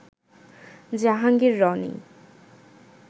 Jahangir Roni